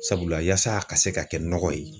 Sabula yaasa a ka se ka kɛ nɔgɔ ye